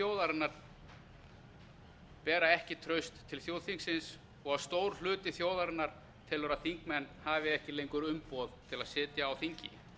þjóðarinnar bera ekki traust til þjóðþingsins og stór hluti þjóðarinnar telur að þingmenn hafi ekki lengur umboð til að sitja á þingi